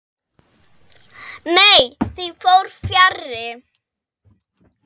Nei, því fór fjarri.